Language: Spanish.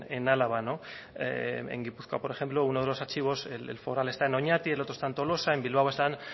en álava en gipuzkoa por ejemplo uno de los archivos el foral está en oñati el otro está en tolosa en bilbao están